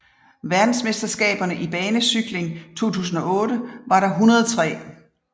Verdensmesterskaberne i banecykling 2008 var det 103